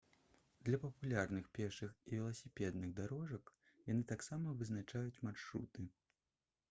для папулярных пешых і веласіпедных дарожак яны таксама вызначаюць маршруты